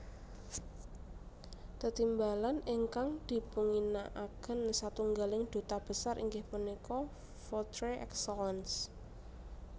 Tetimbalan ingkang dipunginakaken satunggaling duta besar inggih punika Votre Excellence